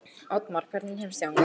Oddmar, hvernig kemst ég þangað?